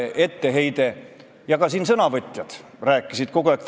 Me oleme 27 aastat lähenenud positiivselt, meil on olnud venekeelne koolivõrgustik.